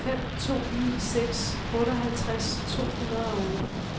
fem to ni seks otteoghalvtreds to hundrede og otte